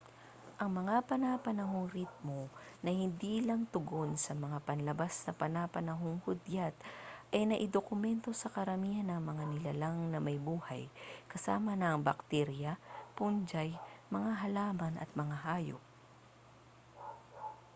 ang mga pana-panahong ritmo na hindi lang tugon sa mga panlabas na pana-panohong hudyat ay naidokumento sa karamihan ng mga nilalang na may buhay kasama na ang baktirya fungi mga halaman at mga hayop